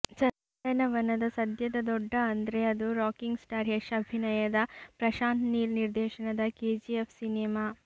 ಚಂದನವನದ ಸದ್ಯದ ದೊಡ್ಡ ಅಂದ್ರೆ ಅದು ರಾಕಿಂಗ್ ಸ್ಟಾರ್ ಯಶ್ ಅಭಿನಯದ ಪ್ರಶಾಂತ್ ನೀಲ್ ನಿರ್ದೇಶನದ ಕೆಜಿಎಫ್ ಸಿನಿಮಾ